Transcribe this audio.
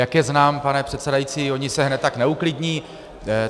Jak je znám, pane předsedající, oni se hned tak neuklidní.